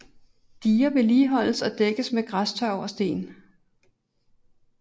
Diger vedligeholdes og dækkes med græstørv og sten